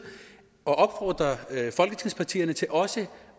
at opfordre folketingspartierne til også